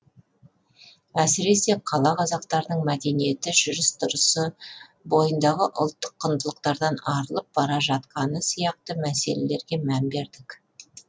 әсіресе қала қазақтарының мәдениеті жүріс тұрысы бойындағы ұлттық құндылықтардан арылып бара жатқаны сияқты мәселелерге мән бердік